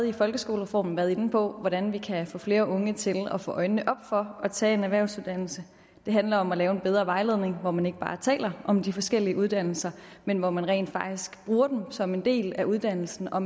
i folkeskolereformen været inde på hvordan vi kan få flere unge til at få øjnene op for at tage en erhvervsuddannelse det handler om at lave en bedre vejledning hvor man ikke bare taler om de forskellige uddannelser men hvor man rent faktisk bruger dem som en del af uddannelsen og